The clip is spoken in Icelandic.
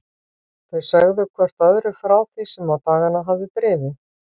Þau sögðu hvert öðru frá því sem á dagana hafði drifið.